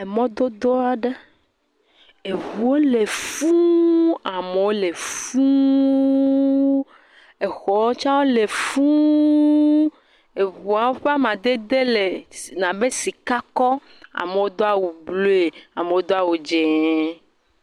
Emɔdodo aɖe. Eŋuwo le fũu. Amewo le fũuu. Exɔ. wo tsɛ wo le fũuuu. Eŋuawo ƒe amadede le nabe sikakɔ. Amewo do awu bloe. Amewo do awu dzẽẽee.